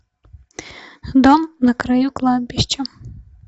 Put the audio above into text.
дом на краю кладбища